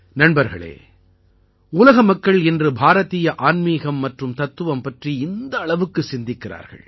நண்பர்களே உலக மக்கள் இன்று பாரதீய ஆன்மீகம் மற்றும் தத்துவம் பற்றி இந்த அளவுக்கு சிந்திக்கிறார்கள்